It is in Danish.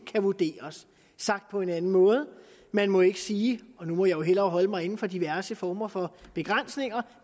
kan vurderes sagt på en anden måde man må ikke sige og nu må jeg hellere holde mig inden for diverse former for begrænsninger